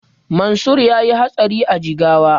Mansur yayi hatsari a Jigawa